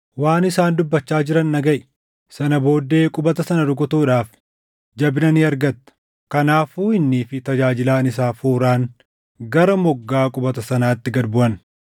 waan isaan dubbachaa jiran dhagaʼi. Sana booddee qubata sana rukutuudhaaf jabina ni argatta.” Kanaafuu innii fi tajaajilaan isaa Fuuraan gara moggaa qubata sanaatti gad buʼan.